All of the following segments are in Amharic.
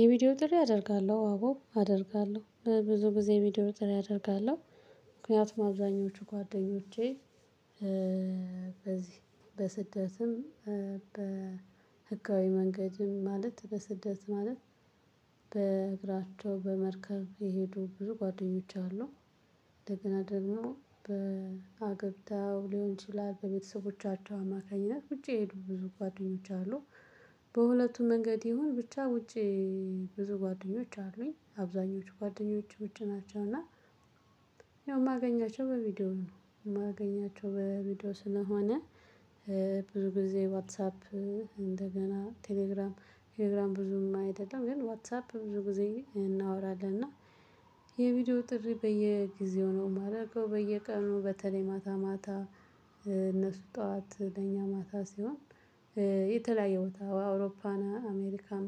የቪዲዮ ጥሪ አደርጋለሁ። አዎ አደርጋለሁ። ብዙ ጊዜ ቪዲዮ ጥሪ አደርጋለሁ። ምክንያቱም አዛኞቹ ጓደኞቼ በዚህ በስደትም በህጋዊ መንገድም ማለት በስደት ማለት በእግራቸው በመርከብ የሄዱ ብዙ ጓደኞቼ አሉ። እንደገና ደግሞ በአተብታው ሊሆን ይችላል በቤተሰቦቻቸው አማካኝነት ውጪ የሄዱ ብዙ ጓደኞች አሉ። በሁለቱም መንገድ ይሁን ብቻ ውጪ ብዙ ጓደኞች አሉኝ። አብዛኞቹ ጓደኞች ውጪ ናቸው። እና ያው ማገኛቸው በቪዲዮ ነው። የማገኛቸው በቪዲዮ ስለሆነ ብዙ ጊዜ ዋትሳፕ እንደገና ቴሌግራም ቴሌግራም ብዙም አይደለም። ግን ዋትሳፕ ብዙ ጊዜ እናወራለን። እና የቪዲዮ ጥሪ በየጊዜው ነው የማደርገው። በየቀኑ በተለይ ማታ ማታ እነሱ ጠዋት ለኛ ማታ ሲሆን የተለያየ ቦታ አውሮፓና አሜሪካም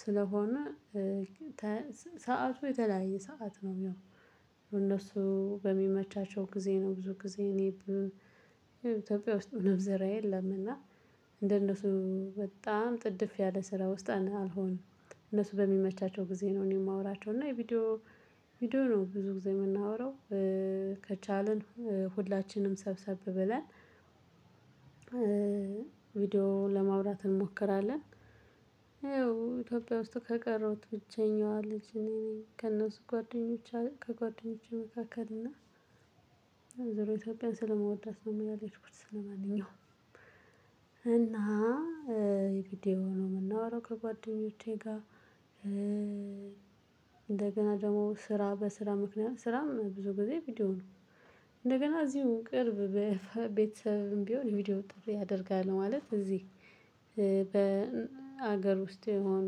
ስለሆነ ሰዓቱ የተለያየ ሰዓት ነው የሚሆነው እነሱ በሚመቻቸው ጊዜ ነው ብዙ ጊዜ እኔ ኢትዮጵያ ውስጥ ምንም ስራ የለም። እና እንደነሱ በጣም ጥድፍ ያለ ስራ ውስጥ አልሆንም። እነሱ በሚመቻቸው ጊዜ ነው እኔ የማወራቸው። እና የቪዲዮ ቪዲዮ ነው ብዙ ጊዜ የምናወራው ከቻልን ሁላችንም ሰብሰብ ብለን ቪዲዮ ለማውራት እንሞክራለን። ይኸው ኢትዮጵያ ውስጥ ከቀረውት ብቸኛዋ ልጅ እኔ ነኝ። ከእነሱ ጓደኞች ከጓደኞቼ መካከል። እና ዘሮ ኢትዮጵያን ስለመወዳት ነው እን ያልሄድኩት ስለማንኛውም። እና እንግዲህ በቪዲዮ ነው የምናወራው ከጓደኞቼ ጋር እንደገና ደግሞ ስራ በስራ ምክንያት ስራም ብዙ ጊዜ ቪዲዮ ነው። እንደገና እዚሁ ቅርብ ቤተሰብም ቢሆን ቪዲዮ ጥሪ አደርጋለሁ። ማለት እዚህ በሀገር ውስጥ የሆኑ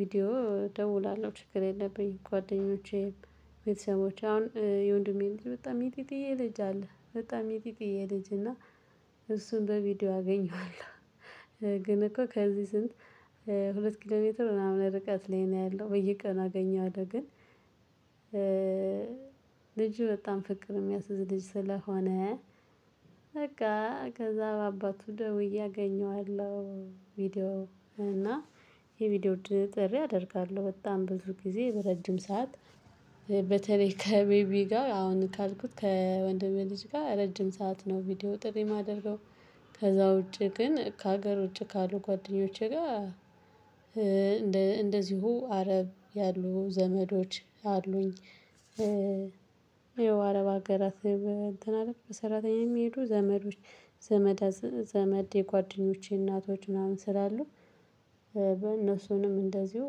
ቪዲዮ እደውላለሁ። ችግር የለብኝ። ጓደኞቼ ቤተሰቦቼ አሁን የወንድሜ ልጅ በጣም ሚጢጢዬ ልጅ አለ በጣም ሚጢጢዬ ልጅ። እና እሱን በቪዲዮ አገኘዋለሁ። ግን እኮ ከዚህ ስንት ሁለት ኪሎ ሜትር ምናምን ርቀት ላይ ነው ያለው። በየቀኑ አገኘዋለሁ። ግን ልጁ በጣም ፍቅር የሚያስዝ ልጅ ስለሆነ በቃ ከዛ በአባቱ ደውዬ አገኘዋለሁ ቪዲዮ ላይ። እና የቪዲዮ ጥሪ አደርጋለሁ። በጣም ብዙ ጊዜ ረጅም ሰዓት በተለይ ከቤቢ ጋር አሁን ካልኩት ከወንድሜ ልጅ ጋር ረጅም ሰዓት ነው ቪዲዮ ጥሪ የማደርገው። ከዛ ውጪ ግን ከሀገር ውጪ ካሉ ጓደኞቼ ጋር እንደዚሁ አረብ ያሉ ዘመዶች አሉኝ። ያው አረብ አገራት እንትን አለ በሰራተኛ የሚሄዱ ዘመዶች ዘመደ ዘመድ የጓደኞቼ እናቶች ምናምን ስላሉ በእነሱንም እንደዚሁ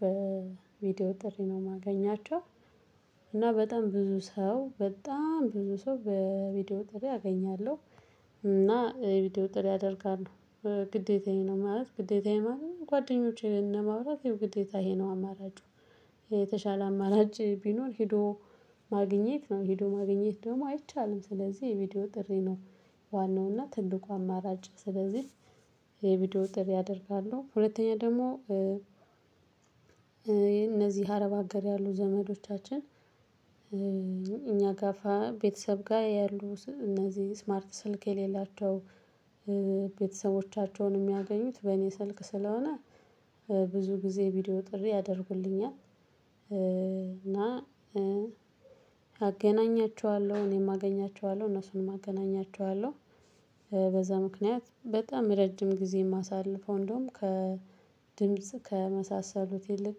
በቪዲዮ ጥሪ ነው የማገኛቸው። እና በጣም ብዙ ሰው በጣም ብዙ ሰው በቪዲዮ ጥሪ አገኛለሁ። እና ቪዲዮ ጥሪ አደርጋለሁ። ግዴታዬ ነው። ማለት ግዴታየ ማለት ጓደኞቼን ለማውራት ግዴታ ይሄ ነው አማራጩ የተሻለ አማራጭ ቢኖር ሄዶ ማግኘት ነው። ሄዶ ማግኘት ደግሞ አይቻልም። ስለዚህ የቪዲዮ ጥሪ ነው ዋናው እና ትንቁ አማራጭ። ስለዚህ የቪዲዮ ጥሪ አደርጋለሁ። ሁለተኛ ደግሞ እነዚህ አረብ አገር ያሉ ዘመዶቻችን እኛ ጋፋ ቤተሰብ ጋር ያሉ እነዚህ ስማርት ስልክ የሌላቸው ቤተሰቦቻቸውን የሚያገኙት በእኔ ስልክ ስለሆነ ብዙ ጊዜ ቪዲዮ ጥሪ ያደርጉልኛል። እና አገናኛቸዋለሁ። እኔም አገኛቸዋለሁ፤ እነሱንም አገናኛቸዋለሁ። በዛ ምክንያት በጣም ረጅም ጊዜ የማሳልፈው እንደውም ከድምጽ ከመሳሰሉት ይልቅ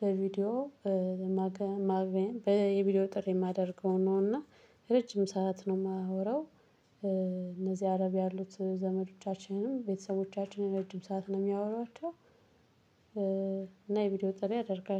በቪዲዮ ማግኘት የቪዲዮ ጥሪ የማደርገው ነው። እና ረጅም ሰዓት ነው የማወራው። እነዚህ አረብ ያሉት ዘመዶቻችንም ቤተሰቦቻቸውን ረጅም ሰዓት ነው የሚያወራቸው። እና የቪዲዮ ጥሪ አደርጋለሁ።